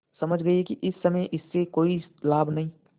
समझ गये कि इस समय इससे कोई लाभ नहीं